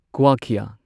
ꯀꯨꯋꯥꯈ꯭ꯌꯥ